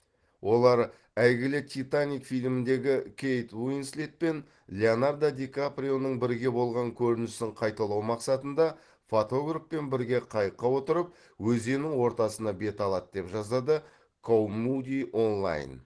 олар әйгілі титаник фильміндегі кейт уинслет пен леонардо ди каприоның бірге болған көрінісін қайталау мақсатында фотографпен бірге қайыққа отырып өзеннің ортасына бет алады деп жазады коумуди онлайн